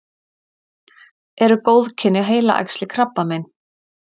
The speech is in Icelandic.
eru góðkynja heilaæxli krabbamein